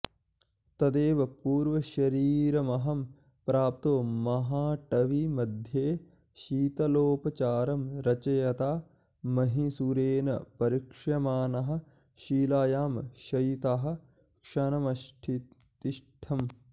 तदेव पूर्वशरीरमहं प्राप्तो महाटवीमध्ये शीतलोपचारं रचयता महीसुरेण परीक्ष्यमाणः शिलायां शयितः क्षणमतिष्ठम्